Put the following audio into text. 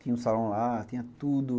Tinha um salão lá, tinha tudo.